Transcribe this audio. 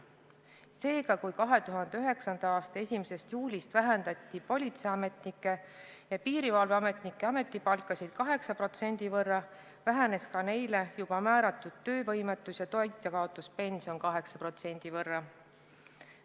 Seega, kui 2009. aasta 1. juulist vähendati politseiametnike ja piirivalveametnike ametipalka 8% võrra, vähenes ka neile juba määratud töövõimetus- ja toitjakaotuspension 8% võrra.